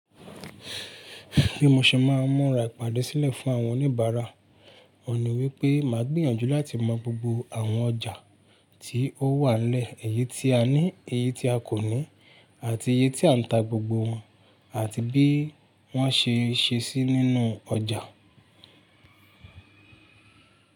Bí mo ṣe máa mọ̀rà ìpàdé sílẹ̀ fún àwọn oníbàárà, òní wípé máa gbìyànjú láti mọ gbogbo àwọn ọjà tí ó wà nile eyi tí a ní, èyí tí a kò ní, àti iye tí à ń ta gbogbo wọn àti bí wọ́n ṣe ń ṣe ṣí nínú ọjà.